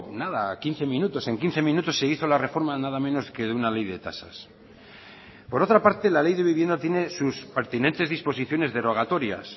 nada quince minutos en quince minutos se hizo la reforma nada menos que de una ley de tasas por otra parte la ley de vivienda tiene sus pertinentes disposiciones derogatorias